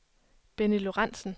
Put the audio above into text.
Benny Lorenzen